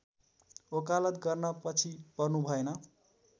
वकालत गर्न पछि पर्नुभएन